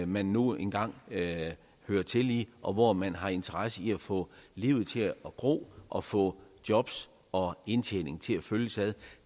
man nu engang hører til i og hvor man har interesse i at få livet til at gro og få jobs og indtjening til at følges ad